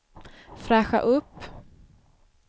fräscha upp